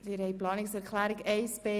Abstimmung (Planungserklärung 1b